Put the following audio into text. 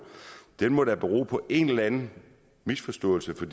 må da bero på en eller anden misforståelse for